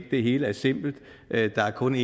at det hele er simpelt at der kun